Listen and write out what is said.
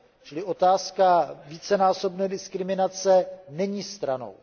Čili otázka vícenásobné diskriminace není stranou.